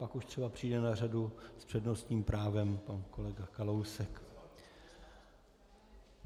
Pak už třeba přijde na řadu s přednostním právem pan kolega Kalousek.